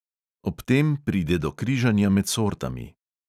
Ob tem pride do križanja med sortami.